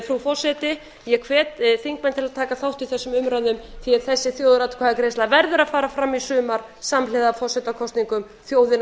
frú forseti ég hvet þingmenn til að taka þátt í þessum umræðum því að þessi þjóðaratkvæðagreiðsla verður að fara fram í sumar samhliða forsetakosningum þjóðin